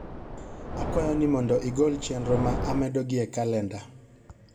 akwayo ni mondo igol chenro ma amedo gi e calenda